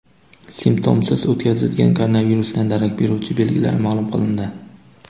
Simptomsiz o‘tkazilgan koronavirusdan darak beruvchi belgilar ma’lum qilindi.